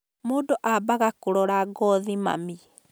Mũndũ ambaga kũrora ngothi mami